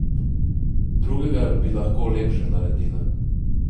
Drugega bi lahko lepše naredila.